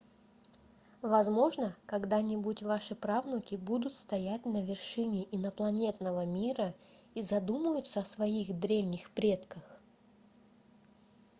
возможно когда-нибудь ваши правнуки будут стоять на вершине инопланетного мира и задумаются о своих древних предках